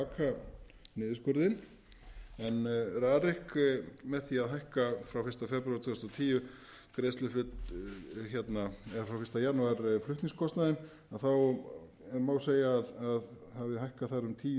baka niðurskurðinn en rarik með því að hækka frá fyrsta janúar tvö þúsund og tíu flutningskostnaðinn þá má segja að hafi hækkað þar um tíu